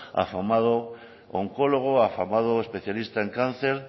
afamado oncólogo afamado especialista en cáncer